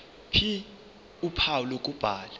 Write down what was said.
ph uphawu lokubhala